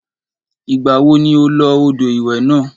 Ìgbà wo ni o lo odò ìwẹ̀ náà?